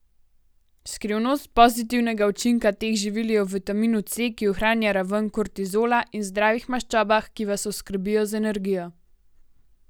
Skrivnost pozitivnega učinka teh živil je v vitaminu C, ki ohranja raven kortizola, in zdravih maščobah, ki vas oskrbijo z energijo.